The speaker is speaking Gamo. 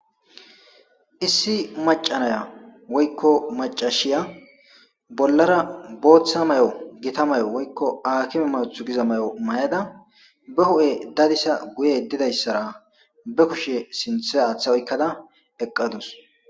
issi macanaya woykko macashiya bollara booththa may7o gita may7o woykko aakime mawuthu giza may7o may7ada be hu7e dadisa guye didayssara be kushe sinthe aaththa oykkada eqqadus